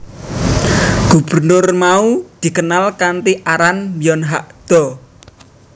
Gubernur mau dikenal kanthi aran Byon Hak do